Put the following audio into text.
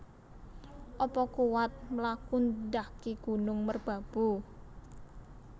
Apa kuwat mlaku ndaki Gunung Merbabu?